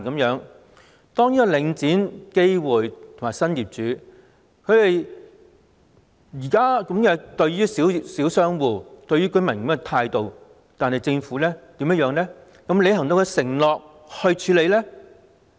現在領展、基匯和新業主以這種態度對待小商戶和居民，政府又有否履行其承諾去處理呢？